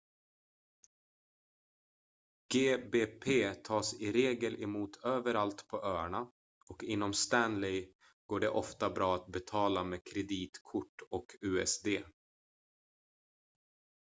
gbp tas i regel emot överallt på öarna och inom stanley går det ofta bra att betala med kreditkort och usd